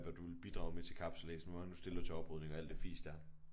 Hvad du vil bidrage med til kapsejlads hvor mange du stiller til oprydning og alt det fis der